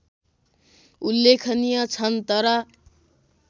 उल्लेखनीय छन् तर